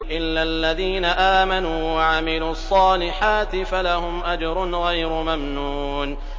إِلَّا الَّذِينَ آمَنُوا وَعَمِلُوا الصَّالِحَاتِ فَلَهُمْ أَجْرٌ غَيْرُ مَمْنُونٍ